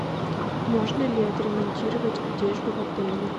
можно ли отремонтировать одежду в отеле